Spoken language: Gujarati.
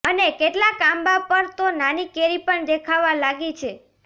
અને કેટલાક આંબા પર તો નાની કેરી પણ દેખાવા લાગી છે